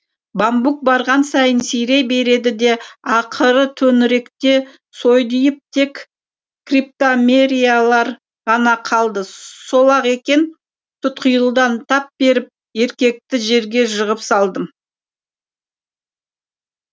бамбук барған сайын сирей берді де ақыры төңіректе сойдиып тек криптомериялар ғана қалды сол ақ екен тұтқиылдан тап беріп еркекті жерге жығып салдым